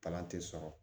Palan te sɔrɔ